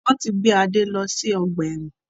Wọn tí gbé Adé lọ sí ọgbà ẹ̀wọ̀n